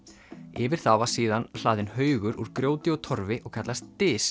yfir það var síðan hlaðinn haugur úr grjóti og Torfi og kallast